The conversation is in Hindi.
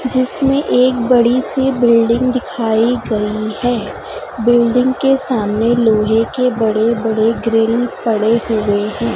जिसमें एक बड़ी सी बिल्डिंग दिखाई गई है बिल्डिंग के सामने लोहे के बड़े बड़े ग्रिल पड़े हुए हैं।